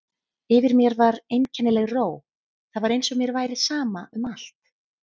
Yfir mér var einkennileg ró, það var eins og mér væri sama um allt.